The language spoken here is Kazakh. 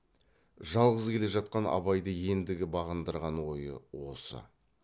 жалғыз келе жатқан абайды ендігі бағындырған ойы осы